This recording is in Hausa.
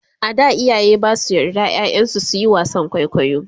a da iyaye Basu yards ƴaƴan su suyi wasan kwaikwayo